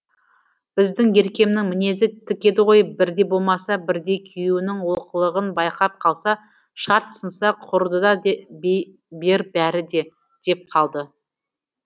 біздің еркемнің мінезі тік еді ғой бірде болмаса бірде күйеуінің олқылығын байқап қалса шарт сынса құрыды да дей бер бәрі де деп қалды